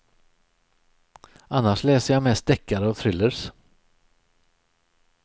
Annars läser jag mest deckare och thrillers.